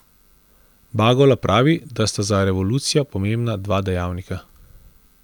Bagola pravi, da sta za revolucijo pomembna dva dejavnika.